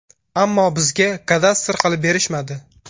Ammo bizga kadastr qilib berishmadi”.